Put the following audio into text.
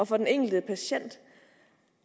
for den enkelte patient